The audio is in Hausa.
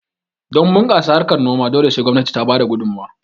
Don bunkasa harkan noma dole sai gwamnati ta bada gudumowa